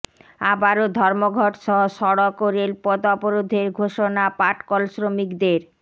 আবারও ধর্মঘটসহ সড়ক ও রেলপথ অবরোধের ঘোষণা পাটকল শ্রমিকদের